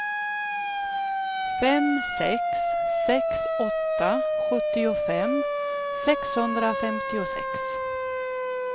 fem sex sex åtta sjuttiofem sexhundrafemtiosex